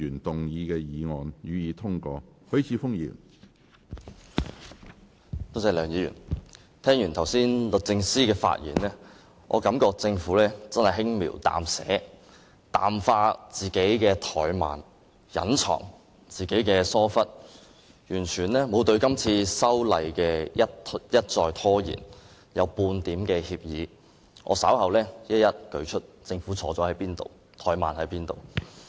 梁議員，聽完法律政策專員剛才的發言，我感到政府真是輕描淡寫，淡化自己的怠慢、隱藏自己的疏忽，對今次一再拖延修例完全沒有半點歉意，我稍後會一一列舉政府哪裏出錯、哪裏怠慢。